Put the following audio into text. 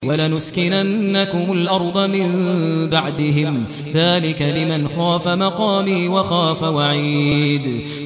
وَلَنُسْكِنَنَّكُمُ الْأَرْضَ مِن بَعْدِهِمْ ۚ ذَٰلِكَ لِمَنْ خَافَ مَقَامِي وَخَافَ وَعِيدِ